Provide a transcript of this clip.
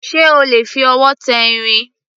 Ṣé o lè fi ọwọ́ tẹ irin?